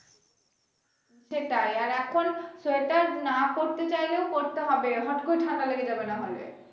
সেটাই আর এখন সেটা না করতে চাইলেও করতে হবে হঠ করে ঠান্ডা লেগে যাবে না হলে